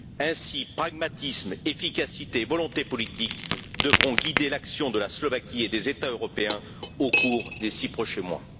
Ainsi pragmatisme, efficacité et volonté politique devront guider l'action de la Slovaquie et des États européens au cours des six prochains mois.